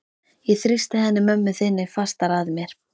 Ég þrýsti henni mömmu þinni fastar að mér.